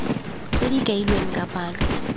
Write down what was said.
tse di kailweng ka palo